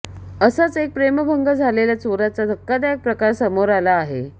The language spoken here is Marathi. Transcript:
असाच एक प्रेमभंग झालेल्या चोराचा धक्कादायक प्रकार समोर आला आहे